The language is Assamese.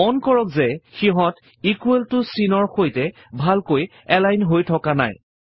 মন কৰক যে সিহঁত ইকোৱেল ত চিনৰ সৈতে ভালকৈ এলাইন হৈ থকা নাই